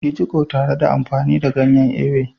Yi jiƙo tare da amfani da ganyen Ewe.